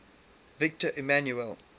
victor emmanuel